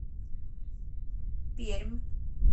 пермь